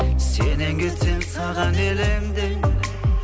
сенен кетсем саған елеңдеймін